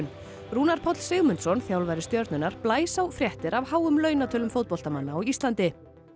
Rúnar Páll Sigmundsson þjálfari Stjörnunnar blæs á fréttir af háum fótboltamanna á Íslandi